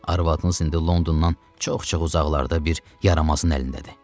Arvadınız indi Londondan çox-çox uzaqlarda bir yaramazın əlindədir.